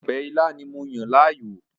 Ọbẹ̀ ilá ni mo yàn láàyò